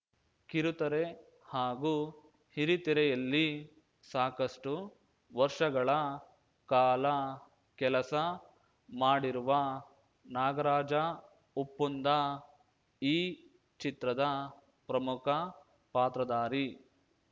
ಕಿರುತೆರೆ ಹಾಗೂ ಹಿರಿತೆರೆಯಲ್ಲಿ ಸಾಕಷ್ಟುವರ್ಷಗಳ ಕಾಲ ಕೆಲಸ ಮಾಡಿರುವ ನಾಗರಾಜ ಉಪ್ಪುಂದ ಈ ಚಿತ್ರದ ಪ್ರಮುಖ ಪಾತ್ರಧಾರಿ